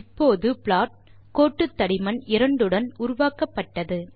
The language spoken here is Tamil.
இப்போது ப்ளாட் கோட்டு தடிமன் 2 உடன் உருவாக்கப்பட்டது